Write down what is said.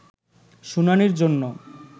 শুনানির জন্য